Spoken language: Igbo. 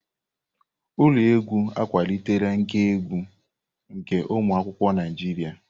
Ụlọ egwu akwalitela nkà egwu nke ụmụ akwụkwọ Naijiria.